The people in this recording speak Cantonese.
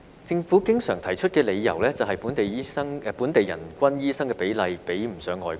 政府經常提出的理由是，本地人均醫生比例比不上外國。